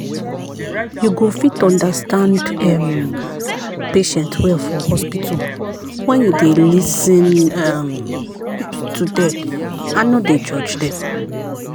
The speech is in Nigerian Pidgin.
you go fit understand um patient well for hospital when you dey lis ten um to dem and nor dey judge them.